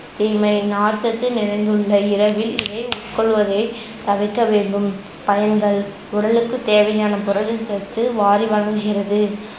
தீமை நார்ச்சத்து நிறைந்துள்ள இரவில் இவை உட்கொள்வதை தவிர்க்க வேண்டும். பயன்கள் உடலுக்கு தேவையான புரதச்சத்து வாரி வழங்குகிறது